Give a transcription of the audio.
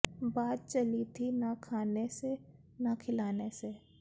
ਬਾਤ ਚਲੀ ਥੀ ਨ ਖਾਨੇ ਸੇ ਨ ਖਿਲਾਨੇ ਸੇ